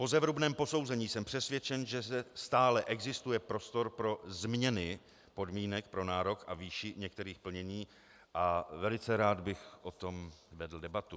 Po zevrubném posouzení jsem přesvědčen, že stále existuje prostor pro změny podmínek pro nárok a výši některých plnění a velice rád bych o tom vedl debatu.